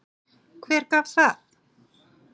Hver gaf það?